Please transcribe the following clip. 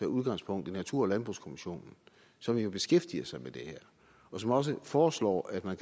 udgangspunkt i natur og landbrugskommissionen som jo beskæftiger sig med det her og som også foreslår at man